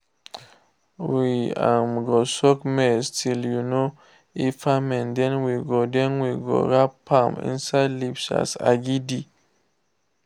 we um go soak maize till um e ferment then we go then we go wrapmam inside leaves as agidi